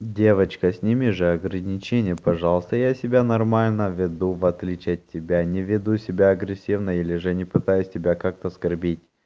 девочка сними же ограничения пожалуйста я себя нормально веду в отличие от тебя не веду себя агрессивно или же не пытаюсь тебя как-то оскорбить